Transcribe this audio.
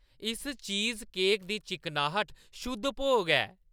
इस चीज़केकै दी चिकनाह्‌ट शुद्ध भोग ऐ।